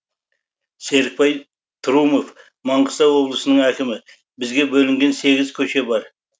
серікбай трұмов маңғыстау облысының әкімі бізге бөлінген сегіз көше бар